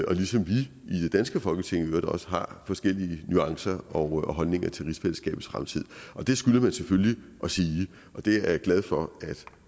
og ligesom vi i det danske folketing i øvrigt også har forskellige nuancer og holdninger til rigsfællesskabets fremtid det skylder man selvfølgelig at sige og det er jeg glad for at